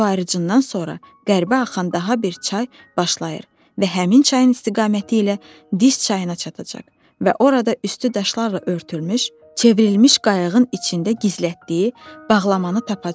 Su ayırıcından sonra qərbə axan daha bir çay başlayır və həmin çayın istiqaməti ilə Dis çayına çatacaq və orada üstü daşlarla örtülmüş, çevrilmiş qayığın içində gizlətdiyi bağlamanı tapacaq.